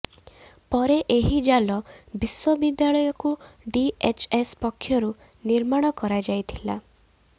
ପରେ ଏହି ଜାଲ ବିଶ୍ୱବିଦ୍ୟାଳୟକୁ ଡିଏଚଏସ ପକ୍ଷରୁ ନିର୍ମାଣ କରାଯାଇ ଥିଲା